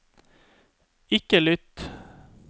ikke lytt